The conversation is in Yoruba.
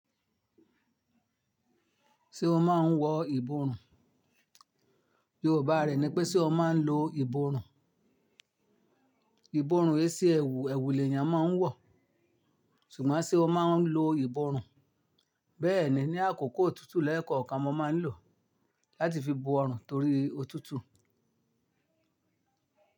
Ṣé o máa ń wọ ìborùn? Yorùbá rẹ̀ ni pé ṣe o máa ń lo ìborùn? Ìborùn ẹsẹ̀ ẹ̀wù, ẹ̀wù lèèyàn máa ń wọ̀, ṣùgbọ́n ṣe o máa ń lo ìborùn? Bẹ́ẹ̀ni, ní àkókò òtútù lẹ́ẹ̀kan ọkàn mọ máa ń lò ọ́ láti fi bo ọrùn torí òtútù.